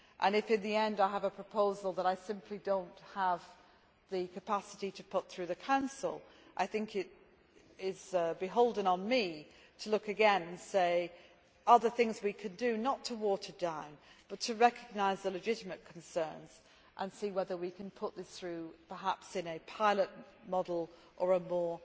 If, in the end, I have a proposal that I simply do not have the capacity to put through the Council, I think it is beholden on me to look again and ask whether there are there things we could do, not to water down but to recognise the legitimate concerns and see whether we can put this through, perhaps in a pilot model or a more